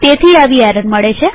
તેથી આવી એરર મળે છે